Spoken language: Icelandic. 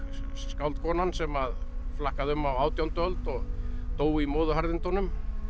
skáldkonan sem að flakkaði um á átjándu öld og dó í móðuharðindunum